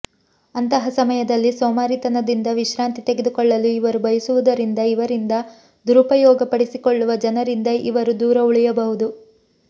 ಅಂತಹ ಸಮಯದಲ್ಲಿ ಸೋಮಾರಿ ತನದಿಂದ ವಿಶ್ರಾಂತಿ ತೆಗೆದುಕೊಳ್ಳಲು ಇವರು ಬಯಸುವುದರಿಂದ ಇವರಿಂದ ದುರುಪಯೋಗ ಪಡಿಸಿಕೊಳ್ಳುವ ಜನರಿಂದ ಇವರು ದೂರ ಉಳಿಯಬಹುದು